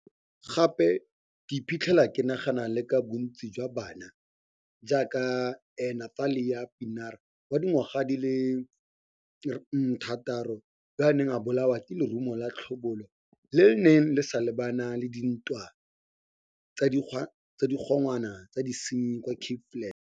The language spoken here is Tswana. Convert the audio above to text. Gape ke iphitlhela ke nagana le ka bontsijwa bana, jaaka Nathlia Pienaar wa dingwaga di le 6, yoo o neng a bolawa ke lerumo la tlhobolo le le neng le sa mo lebana la dintwa tsa digongwana tsa disenyi kwa Cape Flats.